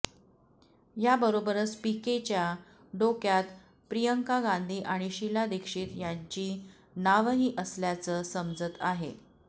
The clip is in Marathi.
याबरोबरच पीकेंच्या डोक्यात प्रियांका गांधी आणि शीला दीक्षित यांची नावंही असल्याचं समजत आहे